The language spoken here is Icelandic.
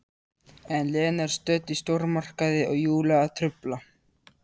En Lena er stödd í stórmarkaði og Júlía að trufla.